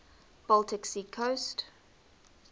baltic sea coast